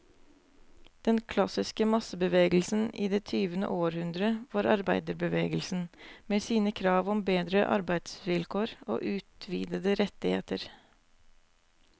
Den klassiske massebevegelsen i det tyvende århundre var arbeiderbevegelsen, med sine krav om bedre arbeidsvilkår og utvidede rettigheter.